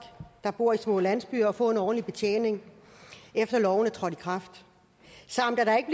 der bor i små landsbyer for at få en ordentlig betjening efter loven træder i kraft samt at der ikke